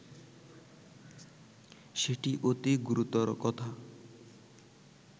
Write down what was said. সেটি অতি গুরুতর কথা